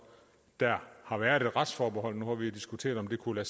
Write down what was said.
har været et retsforbehold nu har vi jo diskuteret om det kunne